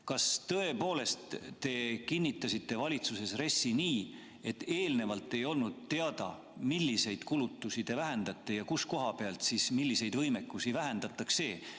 Kas tõepoolest te kinnitasite valitsuses RES-i nii, et eelnevalt ei olnud teada, milliseid kulutusi te vähendate ja millise koha pealt milliseid võimekusi vähendatakse?